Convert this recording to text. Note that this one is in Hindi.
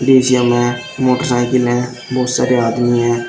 मे मोटर साइकिल हैं बहोत सारे आदमी हैं।